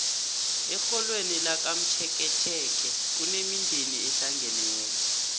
erholweni lakamtjeketjeke kunemindeni ehlangeneko